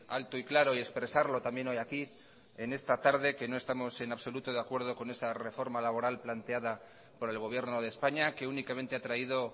alto y claro y expresarlo también hoy aquí en esta tarde que no estamos en absoluto de acuerdo con esa reforma laboral planteada por el gobierno de españa que únicamente ha traído